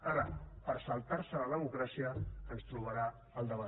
ara per saltar se la democràcia ens trobarà al davant